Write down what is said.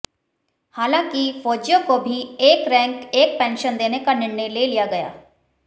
हालांकि फौजियों को भी एक रैंक एक पेंशन देने का निर्णय ले लिया गया